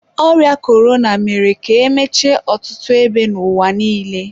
ọrịa korona mere ka emechie ọtụtụ ebe n'ụwa niile.